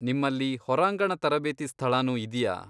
ನಿಮ್ಮಲ್ಲಿ ಹೊರಾಂಗಣ ತರಬೇತಿ ಸ್ಥಳನೂ ಇದ್ಯಾ?